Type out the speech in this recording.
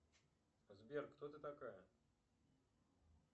сбер кто ты такая